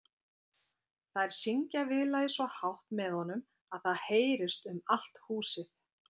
Þær syngja viðlagið svo hátt með honum að það heyrist um allt húsið.